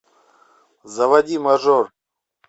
заводи мажор